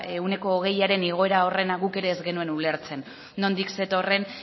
ehuneko hogeiaren igoera horrena guk ere ez genuen ulertzen nondik zetorren